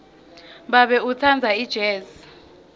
babe utsandza ijezi